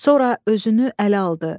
Sonra özünü ələ aldı.